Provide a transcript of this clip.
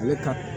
Ale ka